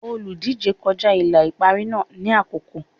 Olùdíje kọjá ìlà ìparí náà ní àkókò.